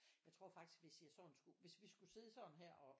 Jeg tror faktisk hvis jeg sådan skulle hvis vi skulle sidde sådan her og